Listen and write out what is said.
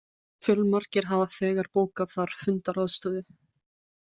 Fjölmargir hafa þegar bókað þar fundaraðstöðu